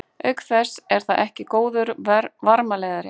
Auk þess er það ekki góður varmaleiðari.